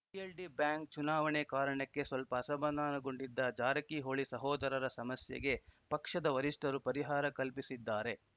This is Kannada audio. ಪಿಎಲ್‌ಡಿ ಬ್ಯಾಂಕ್‌ ಚುನಾವಣೆ ಕಾರಣಕ್ಕೆ ಸ್ವಲ್ಪ ಅಸಮಾಧಾನಗೊಂಡಿದ್ದ ಜಾರಕಿಹೊಳಿ ಸಹೋದರರ ಸಮಸ್ಯೆಗೆ ಪಕ್ಷದ ವರಿಷ್ಠರು ಪರಿಹಾರ ಕಲ್ಪಿಸಿದ್ದಾರೆ